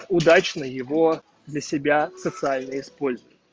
удачно его для себя социальные используй